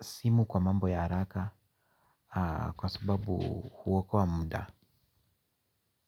simu kwa mambo ya haraka kwa sababu huokoa muda.